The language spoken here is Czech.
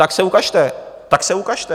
Tak se ukažte, tak se ukažte!